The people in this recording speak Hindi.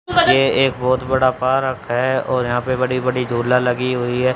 ये एक बहुत बड़ा पार्क है और यहां पे बड़ी बड़ी झूला लगी हुई है।